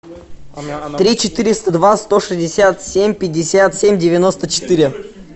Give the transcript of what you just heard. три четыреста два сто шестьдесят семь пятьдесят семь девяносто четыре